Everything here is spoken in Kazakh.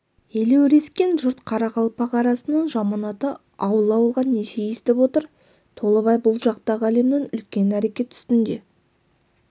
елеурескен жұрт қарақалпақ арасының жаманаты ауыл-ауылға неше естіп отыр толыбай бұл жақтағы әлімнің үлкен әрекет үстінде